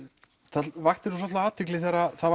það vakti svolitla athygli þegar það